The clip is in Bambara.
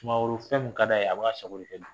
Sumaworo fɛn min ka d'a ye a b'a sago kɛ